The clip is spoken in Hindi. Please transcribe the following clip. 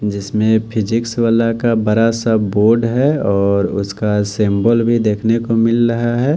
जिसमें फिजिक्स वाला का बरा सा बोर्ड है और उसका सिंबल भी देखने को मिल रहा है।